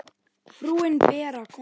Frúin Bera kom ekki.